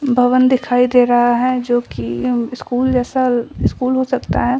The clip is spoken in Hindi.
भवन दिखाई दे रहा है जो की म स्कूल जैसा स्कूल हो सकता है।